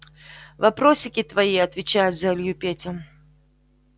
вопросики твои отвечает за илью петя